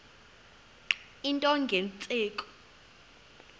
into nge tsheki